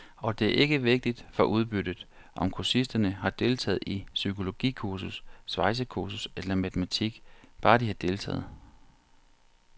Og det er ikke vigtigt for udbyttet, om kursisterne har deltaget i psykologikursus, svejsekursus eller matematik, bare de har deltaget.